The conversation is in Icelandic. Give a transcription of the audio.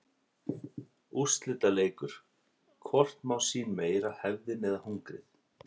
Úrslitaleikur: Hvort má sín meira hefðin eða hungrið?